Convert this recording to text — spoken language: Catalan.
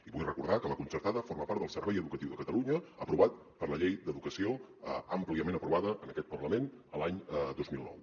i vull recordar que la concertada forma part del servei educatiu de catalunya aprovat per la llei d’educació àmpliament aprovada en aquest parlament l’any dos mil nou